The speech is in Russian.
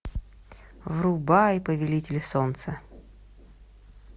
врубай повелитель солнца